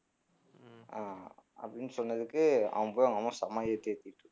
அஹ் அப்படின்னு சொன்னதுக்கு அவன் போய் அவங்க அம்மா செம ஏத்து ஏத்திட்டு இருக்கான்.